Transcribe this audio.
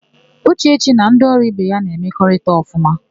Ụchechi na ndị ọrụ ibe ya na-emekọrịta ọfụma.